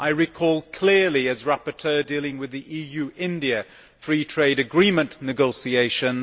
I recall clearly, as the rapporteur dealing with the EU India Free Trade Agreement negotiations.